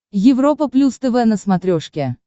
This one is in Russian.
европа плюс тв на смотрешке